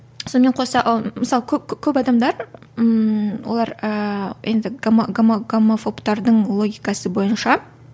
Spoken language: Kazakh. сонымен қоса ы мысалы көп адамдар ммм олар ыыы енді гомо гомо гомофобтардың логикасы бойынша